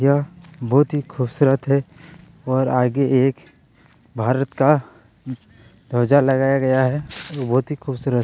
यह बहोत ही खूबसूरत है और आगे एक भारत का ध्वजा लगाया गया है और बहोत खूबसूरत है।